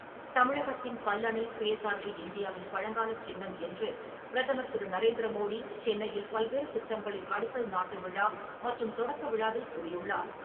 தமிழகத்தின் கல்லணை, சுயசார்பு இந்தியாவின் பழங்காலச் சின்னம் என்று பிரதமர் திரு. நரேந்திர மோடி சென்னையில் பல்வேறு திட்டங்களின் அடிக்கல் நாட்டு விழா மற்றும் தொடக்க விழாக்களில் கூறியுள்ளார்.